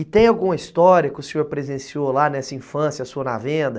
E tem alguma história que o senhor presenciou lá nessa infância sua na venda?